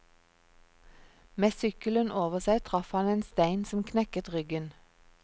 Med sykkelen over seg traff han en stein som knekket ryggen.